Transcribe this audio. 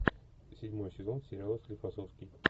седьмой сезон сериала склифосовский